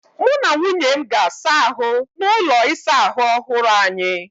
Mụ na nwunye m ga-asa ahụ n'ụlọ ịsa ahụ ọhụrụ anyị.